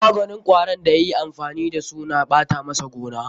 Maganin kwarin da ya yi amfani da su na ɓata masa gona.